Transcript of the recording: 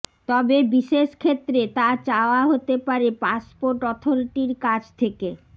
তবে বিশেষ ক্ষেত্রে তা চাওয়া হতে পারে পাসপোর্ট অথরিটির কাছ থেকে